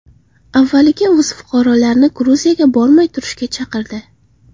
Avvaliga o‘z fuqarolarini Gruziyaga bormay turishga chaqirdi.